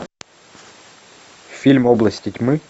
фильм области тьмы